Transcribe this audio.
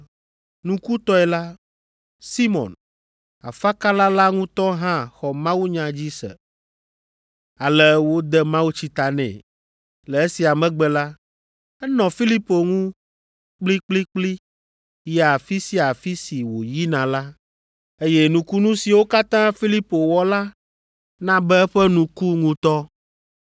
Nukutɔe la, Simɔn, afakala la ŋutɔ hã xɔ mawunya dzi se, ale wode mawutsi ta nɛ. Le esia megbe la, enɔ Filipo ŋu kplikplikpli yia afi sia afi si wòyina la, eye nukunu siwo katã Filipo wɔ la na be eƒe nu ku ŋutɔ.